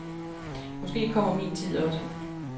Måske kommer min tid også.